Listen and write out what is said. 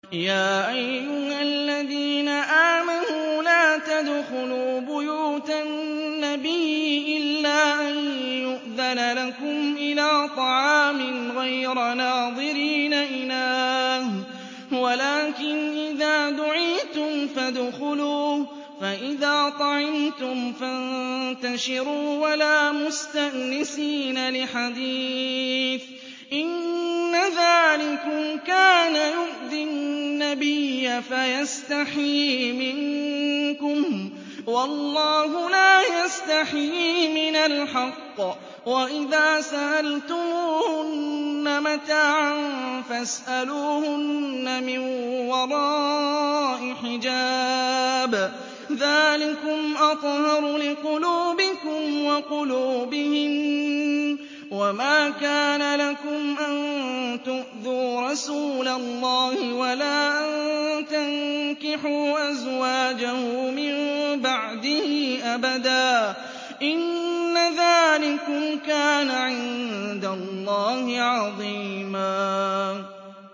يَا أَيُّهَا الَّذِينَ آمَنُوا لَا تَدْخُلُوا بُيُوتَ النَّبِيِّ إِلَّا أَن يُؤْذَنَ لَكُمْ إِلَىٰ طَعَامٍ غَيْرَ نَاظِرِينَ إِنَاهُ وَلَٰكِنْ إِذَا دُعِيتُمْ فَادْخُلُوا فَإِذَا طَعِمْتُمْ فَانتَشِرُوا وَلَا مُسْتَأْنِسِينَ لِحَدِيثٍ ۚ إِنَّ ذَٰلِكُمْ كَانَ يُؤْذِي النَّبِيَّ فَيَسْتَحْيِي مِنكُمْ ۖ وَاللَّهُ لَا يَسْتَحْيِي مِنَ الْحَقِّ ۚ وَإِذَا سَأَلْتُمُوهُنَّ مَتَاعًا فَاسْأَلُوهُنَّ مِن وَرَاءِ حِجَابٍ ۚ ذَٰلِكُمْ أَطْهَرُ لِقُلُوبِكُمْ وَقُلُوبِهِنَّ ۚ وَمَا كَانَ لَكُمْ أَن تُؤْذُوا رَسُولَ اللَّهِ وَلَا أَن تَنكِحُوا أَزْوَاجَهُ مِن بَعْدِهِ أَبَدًا ۚ إِنَّ ذَٰلِكُمْ كَانَ عِندَ اللَّهِ عَظِيمًا